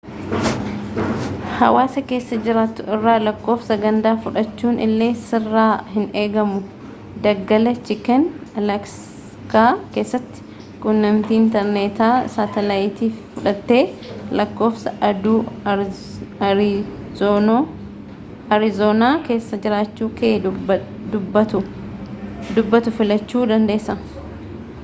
hawaasa keessa jiraattu irraa lakkoofsa gandaa fudhachuun illee sirraa hin eegamu daggala chiken alaaskaa keessatti quunnamtii intarneetaa saatelaayitii fudhattee lakkoofsa aduu aarizoonaa keessa jiraachuu kee dubbatu filachuu dandeessa